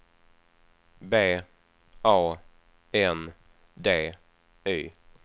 B A N D Y